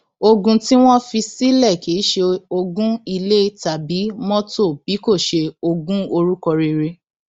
ogun tí wọn fi sílẹ kì í ṣe ogún ilé tàbí mọtò bí kò ṣe ogún orúkọ rere